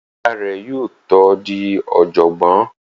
Ìyá rẹ̀ yóò tó di ọ̀jọ̀gbọ́n